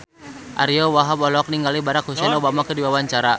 Ariyo Wahab olohok ningali Barack Hussein Obama keur diwawancara